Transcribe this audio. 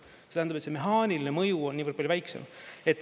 See tähendab, et see mehaaniline mõju on niivõrd palju väiksem.